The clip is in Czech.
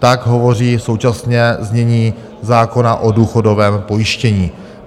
Tak hovoří současné znění zákona o důchodovém pojištění.